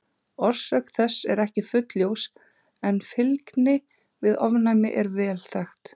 Orsök þess er ekki fullljós en fylgni við ofnæmi er vel þekkt.